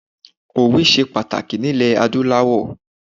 Òwe se pàtàkì ní ilè adúláwọ̀